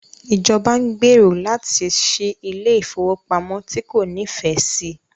Ìjọba ń gbèrò láti ṣí ilé ìfowópamọ́ tí kò nífẹ̀ẹ́ sí.